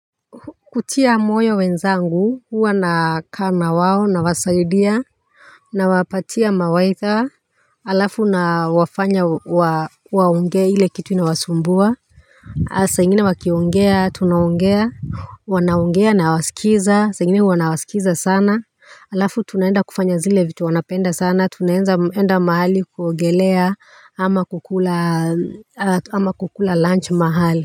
Kutia moyo wenzangu huwa nakaa na wao nawasaidia nawapatia mawaidha alafu nawafanya wa, waongee ile kitu inawasumbua saa ingine wakiongea tunaongea wanaongea nawasikiza saa ingine hua nawasikiza sana, alafu tunaenda kufanya zile vitu wanapenda sana tunaeza enda mahali kuongelea ama kukula ama kukula lunch mahali.